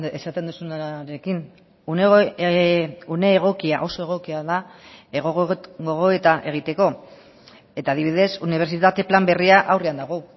esaten duzunarekin une egokia oso egokia da gogoeta egiteko eta adibidez unibertsitate plan berria aurrean dago